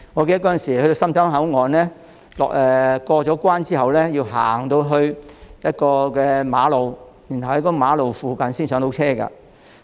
記得當年前往深圳灣口岸時，在過關後須步行經過一段馬路，才可在馬路附近的位置上車。